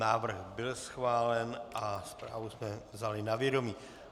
Návrh byl schválen a zprávu jsme vzali na vědomí.